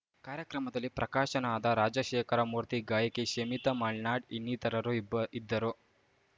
ಕಾರ್ಯಕ್ರಮದಲ್ಲಿ ಪ್ರಕಾಶನಾದ ರಾಜಶೇಖರಮೂರ್ತಿ ಗಾಯಕಿ ಶಮಿತಾ ಮಲ್ನಾಡ್‌ ಇನ್ನಿತರರು ಇಬ್ಬ್ ಇದ್ದರು